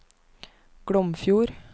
Glomfjord